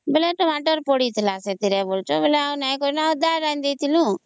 ବେଳେ Tomato ପଡିଥିଲା ବଳୁଛୁ ଆଉ